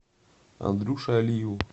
андрюше алиеву